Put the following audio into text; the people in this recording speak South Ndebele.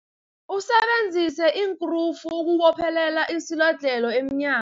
Usebenzise iinkrufu ukubophelela isilodlhelo emnya